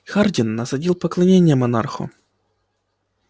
хардин насадил поклонение монарху